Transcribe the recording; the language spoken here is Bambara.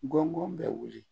Gɔngɔn bɛ wuli